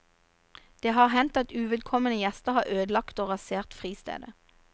Det har hendt at uvedkomne gjester har ødelagt og rasert fristedet.